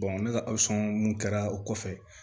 ne ka mun kɛra o kɔfɛ